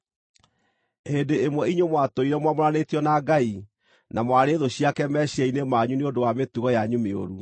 Hĩndĩ ĩmwe inyuĩ mwatũire mwamũranĩtio na Ngai na mwarĩ thũ ciake meciiria-inĩ manyu nĩ ũndũ wa mĩtugo yanyu mĩũru.